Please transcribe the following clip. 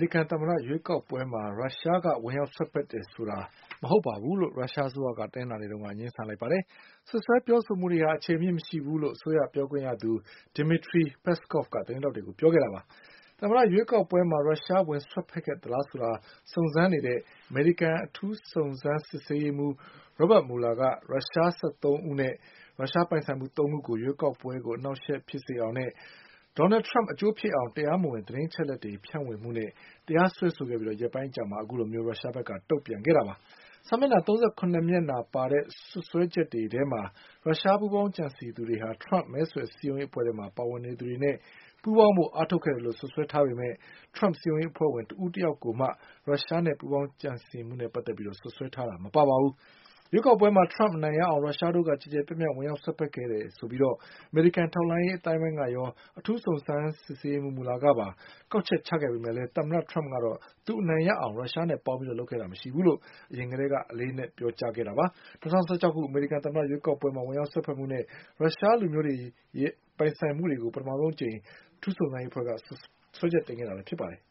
ရိကန်သမ္မတရွေးကောက်ပွဲမှာ ရုရှားအစိုးရက ဝင်ရောက်စွက်ဖက်ခဲ့တယ်ဆိုတာမဟုတ်ဘူးလို့ ရုရှားအစိုးရက တနင်္လာနေ့မှာ ငြင်းဆန်လိုက်ပါတယ်။ စွပ်စွဲပြောဆိုမှုတွေဟာ အခြေအမြစ်မရှိဘူးလို့ အစိုးရပြောခွင့်ရသူ Dmitry Peskov သတင်းထောက်တွေကို ပြောကြားပါတယ်။ သမ္မတရွေးကောက်ပွဲမှာ ရုရှားဝင်စွက်ဖက်ခဲ့သလားဆိုတာ စုံစမ်းနေတဲ့ အမေရိကန်အထူးစုံစမ်းရေးမှူး Robert Mueller က ရုရှားလူမျိုး ၁၃ ယောက်နဲ့ ရုရှား ပိုင်ဆိုင်မှု ၃ ခုကို ရွေးကောက်ပွဲကို အနှောင့်အယှက်ဖြစ်စေအောင်နဲ့ Donald Trump အကျိုးဖြစ်အောင် တရားမဝင်သတင်းအချက်အလက်တွေ ဖြန့်ဝေမှုနဲ့ တရားစွဲခဲ့ပြီးရက်ပိုင်းအကြာမှ ခုလိုရုရှားအစိုးရဖက်က တုံ့ပြန်လိုက်တာဖြစ်ပါတယ်။ စာမျက်နှာ ၃၇ မျက်နှာပါတဲ့ စွပ်စွဲချက်တွေထဲမှာ ရုရှားပူးပေါင်းကြံစည်သူတွေဟာ Trump မဲဆွယ်စည်းရုံးရေးအဖွဲ့ထဲမှာ ပါဝင်နေသူတွေနဲ့ ပူးပေါင်းဖို့အားထုတ်ခဲ့တယ်လို့ စွပ်စွဲထားပေမဲ့ Trump စည်းရုံးရေးအဖွဲ့ဝင် တဦးတယောက်ကိုမှ ရုရှားနဲ့ပူးပေါင်းကြံစည်မှုနဲ့ စွပ်စွဲထားတာ မပါဝင်ပါဘူး။ ရွေးကောက်ပွဲမှာ Trump အနိုင်ရအောင် ရုရှားတို့က ကျယ်ကျယ်ပြန့်ပြန့် ဝင်ရောက်စွက်ဖက်ခဲ့တယ်လို့ အမေရိကန်ထောက်လှမ်းရေးအသိုင်းအဝိုင်းရော၊ အထူစုံစမ်းရေးမှူး Mueller ကပါ ကောက်ချက်ချခဲ့ပေမယ့် သမ္မတ Trump ကတော့ သူအနိုင်ရအောင် ရုရှားနဲ့ပူးပေါင်းဆောင်ရွက်ခဲ့ခြင်းမရှိဘူးလို့ အရင်ထဲက အလေးအနက်ပြောကြားနေတာပါ။ ၂၀၁၆ ခုနှစ်အမေရိကန်သမ္မတရွေးကောက်ပွဲမှာ ဝင်ရောက်စွက်ဖက်မှုနဲ့ ရုရှားလူမျိုးတွေနဲ့ ရုရှားပိုင်ဆိုင်မှုတွေကို ပထမဆုံးအကြိမ် အထူးစုံစမ်းရေးမှူးရုံးက စွဲချက်တင်ခဲ့တာလည်းဖြစ်ပါတယ်